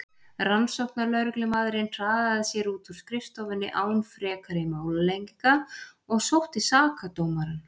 Rannsóknarlögreglumaðurinn hraðaði sér út úr skrifstofunni án frekari málalenginga og sótti sakadómarann.